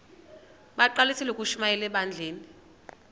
bagqalisele ukushumayela ebandleni